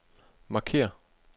markér